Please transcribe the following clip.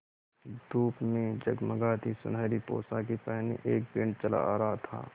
धूप में जगमगाती सुनहरी पोशाकें पहने एक बैंड चला आ रहा था